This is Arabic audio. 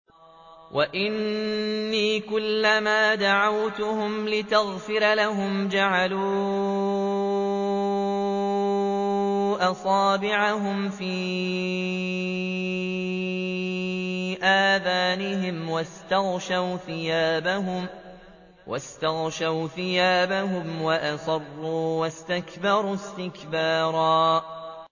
وَإِنِّي كُلَّمَا دَعَوْتُهُمْ لِتَغْفِرَ لَهُمْ جَعَلُوا أَصَابِعَهُمْ فِي آذَانِهِمْ وَاسْتَغْشَوْا ثِيَابَهُمْ وَأَصَرُّوا وَاسْتَكْبَرُوا اسْتِكْبَارًا